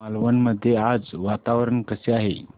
मालवण मध्ये आज वातावरण कसे आहे